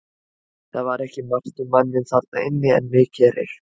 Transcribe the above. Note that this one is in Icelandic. Það var ekki margt um manninn þarna inni en mikið reykt.